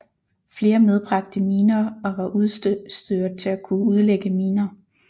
Flere medbragte miner og var udstyret til at kunne udlægge miner